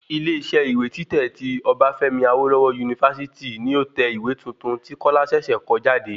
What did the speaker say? Ilé isẹ́ ìwé títẹ̀ tí Obafemi Awolowo University ni ó tẹ ìwé tuntun tí kọ́lá ṣẹ̀ṣẹ̀ kọ jáde